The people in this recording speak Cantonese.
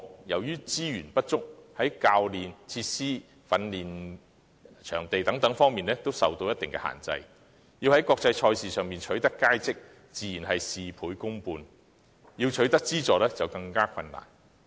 由於資源不足，非精英項目在教練、設施和訓練場地等方面均受一定限制，若要在國際賽事中取得佳績，倍加困難，想要取得資助的話更為困難。